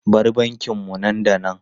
Bar bankin mu nan da nan!